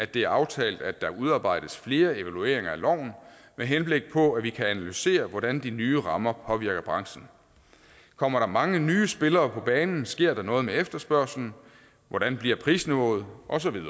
det er aftalt at der udarbejdes flere evalueringer af loven med henblik på at vi kan analysere hvordan de nye rammer påvirker branchen kommer der mange nye spillere på banen sker der noget med efterspørgslen hvordan bliver prisniveauet